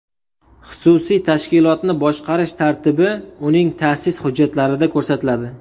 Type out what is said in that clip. Xususiy tashkilotni boshqarish tartibi uning ta’sis hujjatlarida ko‘rsatiladi.